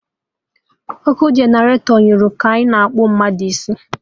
Ọkụ generatọ nyụrụ ka anyị na-akpụ mmadụ isi